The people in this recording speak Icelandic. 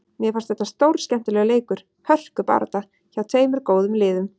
Mér fannst þetta stórskemmtilegur leikur, hörkubarátta, hjá tveimur góðum liðum.